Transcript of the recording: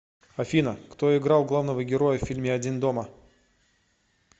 афина кто играл главного героя в фильме один дома